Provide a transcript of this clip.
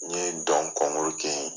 N ye dɔn kɛ ye.